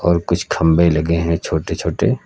और कुछ खंभे लगे हैं छोटे छोटे।